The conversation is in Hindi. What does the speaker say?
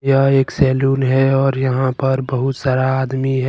यह एक सैलून है और यहां पर बहुत सारा आदमी है।